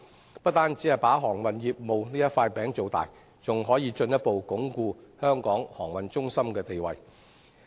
這不但有助造大航運業務這塊餅，亦可進一步鞏固香港航運中心的地位。